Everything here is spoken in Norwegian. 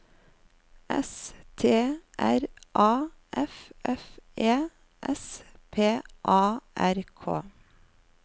S T R A F F E S P A R K